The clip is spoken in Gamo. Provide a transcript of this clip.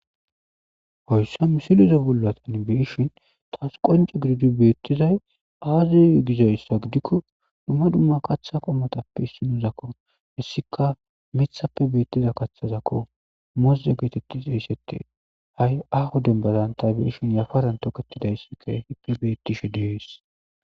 hoyssa musilize bollatan beishhin taas qonce gididu beettizay aazi gizayssa gidikko dumma dumma kaththa qomotappe issinuzakko hessika mithappe beettiza kathazakko mozze geetettis eyssete ha7i ahu dembadan ta beishin yafaran toketidayssikka hippe beettishe diyees